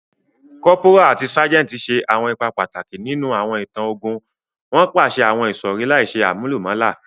Cọ́póra ati ságẹntì ṣe awọn ipa pataki ninu awọn itan ogun, won paṣẹ àwon ìsọ̀rí láìse àmúlùmálà